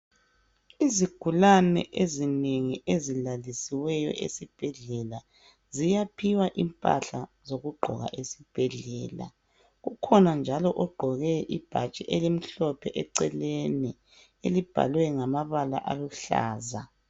Izigulane ezinengi ezilalisiweyo esibhedlela, ziyaphiwa impahla zokugqoka esibhedlela. Kukhona njalo ogqoke ibhatshi elimhlophe eceleni, elibhalwe ngamabala aluhlaza.